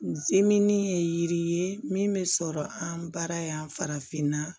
N ziini ye yiri ye min bɛ sɔrɔ an bara yan farafinna